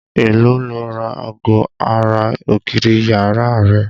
Èló lo ra ago ara ògiri yàrá rẹ?